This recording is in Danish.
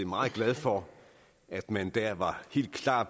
meget glad for at man der var helt klar